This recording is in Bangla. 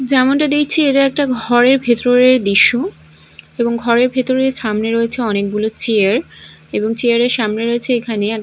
যেমনটা দেখছি এটা একটা ঘরের ভেতরের দৃশ্য এবং ঘরের ভেতরে সামনে রয়েছে অনেকগুলো চেয়ার এবং চেয়ার -এর সামনে রয়েছে এখানে--